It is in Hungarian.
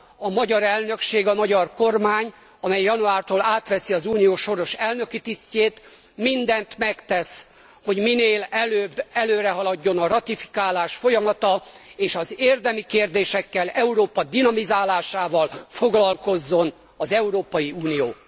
A magyar elnökség, a magyar kormány, amely januártól átveszi az Unió soros elnöki tisztjét, minden megtesz, hogy minél előbb előrehaladjon a ratifikálás folyamata és az érdemi kérésekkel, Európa dinamizálásával foglalkozzon az Európai Unió.